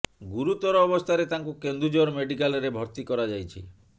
ଗୁରୁତର ଅବସ୍ଥାରେ ତାଙ୍କୁ କେନ୍ଦୁଝର ମେଡିକାଲ ରେ ଭର୍ତ୍ତି କରାଯାଇଛି